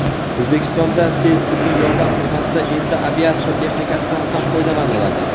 O‘zbekistonda tez tibbiy yordam xizmatida endi aviatsiya texnikasidan ham foydalaniladi.